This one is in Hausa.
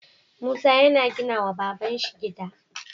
Musa yana gina wa babanshi gida